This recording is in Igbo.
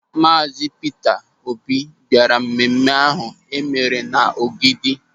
Maazi Pita Obi bịara mmemme ahụ e mere n'Ogidi.